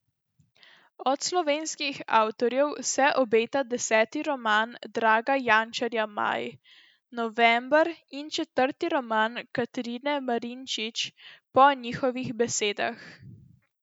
Od slovenskih avtorjev se obeta deseti roman Draga Jančarja Maj, november in četrti roman Katarine Marinčič Po njihovih besedah.